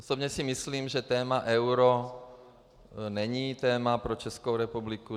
Osobně si myslím, že téma euro není téma pro Českou republiku.